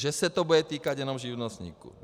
Že se to bude týkat jenom živnostníků.